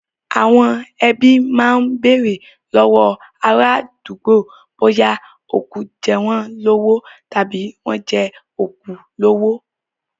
Àwọn ẹbí máa bèrè lọ́wọ́ àwọn ará àdúgbò bóyá òkú jẹ́ wọ́n lówó tàbí wọ́n jẹ òkú lówó.